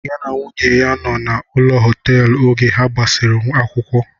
Ya na nwunye ya nọ na ụlọ họteelu oge ha gbasiri akwụkwọ